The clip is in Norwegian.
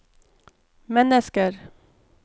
mennesker